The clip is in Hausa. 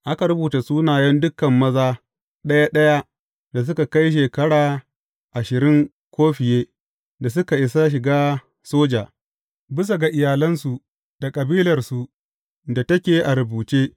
Aka rubuta sunayen dukan maza ɗaya ɗaya da suka kai shekara ashirin ko fiye da suka isa shiga soja, bisa ga iyalansu da kabilarsu da take a rubuce.